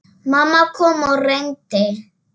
Mamma kom og reyndi.